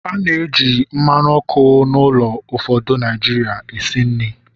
A na-eji mmanụ ọkụ n'ụlọ ụfọdụ Naijiria esi nri